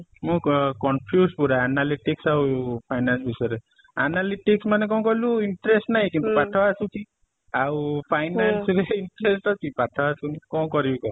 ମୁଁ କ confuse ପୁରା analytics ଆଉ finance ବିଷୟ ରେ analytic ମାନେ କଣ କହିଲୁ interest ନାହିଁ କିନ୍ତୁ ପାଠ ଆସୁଛି ଆଉ finance ରେ interest ଅଛି ପାଠ ଆସୁନି କଣ କରିବି କହ ?